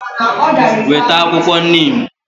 Weta akwukwo neem!